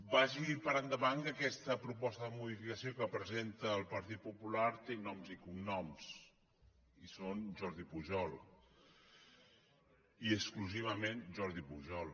vagi per endavant que aquesta proposta de modificació que presenta el partit popular té noms i cognoms i són jordi pujol i exclusivament jordi pujol